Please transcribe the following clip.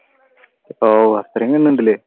ആഹ് അത്രേം gun ഉണ്ടല്ലേ?